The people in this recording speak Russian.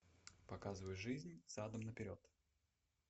показывай жизнь задом наперед